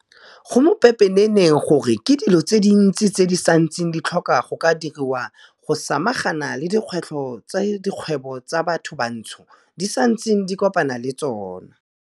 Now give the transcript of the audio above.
Go mo pepeneneng gore ke dilo tse dintsi tse di santseng di tlhoka go ka diriwa go samagana le dikgwetlho tse dikgwebo tsa bathobantsho di santseng di kopana le tsona.